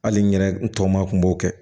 Hali n yɛrɛ n tɔ ma kun b'o kɛ